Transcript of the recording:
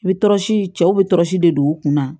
I bɛ tɔrɔsi cɛw bɛ tɔrɔsi de don u kunna